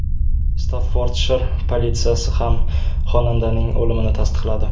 Staffordshir politsiyasi ham xonandaning o‘limini tasdiqladi.